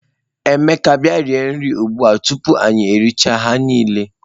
Emeka bia rie nri ugbua o, tupu anyi eri chaa ha nile.